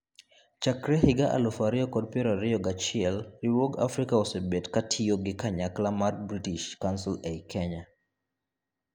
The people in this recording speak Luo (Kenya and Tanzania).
Chakre higa elufu ariyo kod piero ariyo gachiel, riwruog Africa osebet katiyo gi kanyakla mar British Council ei Kenya.